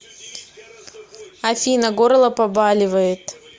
афина горло побаливает